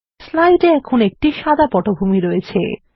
slide এ এখন একটি সাদা পটভূমি রয়েছে